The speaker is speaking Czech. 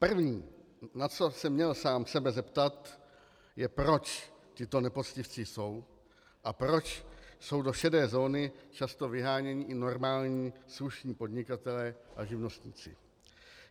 První, na co se měl sám sebe zeptat, je, proč tito nepoctivci jsou a proč jsou do šedé zóny často vyháněni i normální slušní podnikatelé a živnostníci.